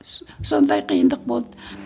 сондай қиындық болды